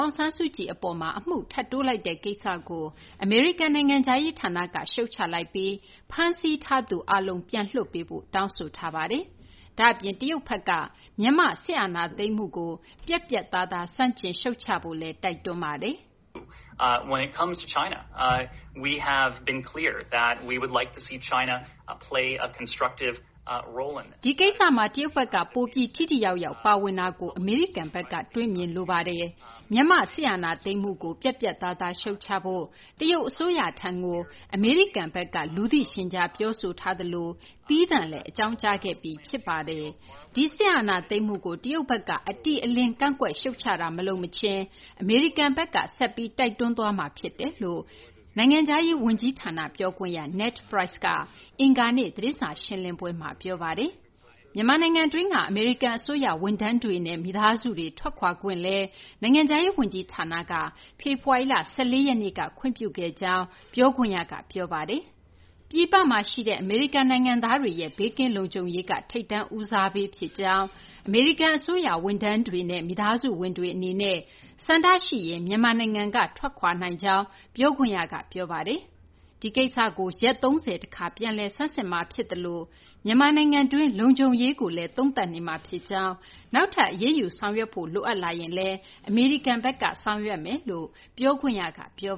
ာင်ဆန်းစုကြည် အပေါ်မှာ အမှုထပ်တိုးလိုက်တဲ့ ကိစ္စကို အမေရိကန် နိုင်ငံခြားရေး ဌာနက ရှုတ်ချလိုက်ပြီး ဖမ်းဆီးထားသူ အားလုံး ပြန်လွှတ်ပေးဖို့ တောင်းဆိုပါတယ်။ ဒါ့အပြင် တရုတ်ဘက်က မြန်မာ့ စစ်အာဏာသိမ်းမှုကို ပြတ်ပြတ်သားသား ဆန့်ကျင် ရှုတ်ချဖို့လည်း တိုက်တွန်းလိုက်ပါတယ်။ “ဒီကိစ္စမှာ တရုတ်ဘက်က ပိုပြီး ထိထိရောက်ရောက် ပါဝင်တာကို အမေရိကန်ဘက်က တွေ့မြင်လိုပါတယ်။ မြန်မာ့ စစ်အာဏာသိမ်းမှုကို ပြတ်ပြတ်သားသား ရှုတ်ချဖို့ တရုတ် အစိုးရထံကို အမေရိကန် အစိုးရဘက်က လူသိရှင်ကြား ပြောဆိုထားသလို သီးသန့်လည်း အကြောင်းကြားခဲ့ပြီး ဖြစ်ပါတယ်။ ဒီစစ်အာဏာသိမ်းမှုကို တရုတ်ဘက်က အတိအလင်း ကန့်ကွက် ရှုတ်ချတာ မလုပ်မချင်း အမေရိကန်ဘက်က ဆက်ပြီး အကြောင်းကြားသွားမှာ ဖြစ်တယ်” လို့ အမေရိကန် နိုင်ငံခြားရေး ဝန်ကြီးဌာန ပြောခွင့်ရ Ned Price က အင်္ဂါနေ့ သတင်းစာ ရှင်းလင်းပွဲမှာ ပြောဆိုသွားတာပါ။ မြန်မာနိုင်ငံတွင်းက အမေရိကန် အစိုးရ ဝန်ထမ်းတွေနဲ့ မိသားစုတွေ ထွက်ခွာခွင့်လည်း နိုင်ငံခြားရေး ဝန်ကြီးဌာနက ဖေဖော်ဝါရီလ ၁၄ ရက်နေ့က ခွင့်ပြုခဲ့ကြောင်း ပြောခွင့်ရက ပြောပါတယ်။ ပြည်ပမှာ ရှိတဲ့ အမေရိကန် နိုင်ငံသားတွေရဲ့ ဘေးကင်းလုံခြုံရေးက ထိပ်တန်း ဦးစားပေး ဖြစ်ကြောင်း၊ အမေရိကန် အစိုးရ ဝန်ထမ်းတွေနဲ့ မိသားစုဝင်တွေ အနေနဲ့ ဆန္ဒ ရှိရင် မြန်မာနိုင်ငံကနေ ထွက်ခွာနိုင်ကြောင်း ပြောခွင့်ရက ပြောပါတယ်။ ဒီကိစ္စကို ရက် ၃၀ တခါ ပြန်လည် ဆန်းစစ်မှာ ဖြစ်သလို မြန်မာနိုင်ငံတွင်း လုံခြုံရေးကိုလည်း သုံးသပ်နေမှာ ဖြစ်ကြောင်း၊ နောက်ထပ် အရေးယူ ဆောင်ရွက်ဖို့ လိုအပ်လာရင်လည်း အမေရိကန်ဘက်က ဆောင်ရွက်မှာ ဖြစ်တယ်လို့ ပြောခွင့်ရ Ned Price က ပြော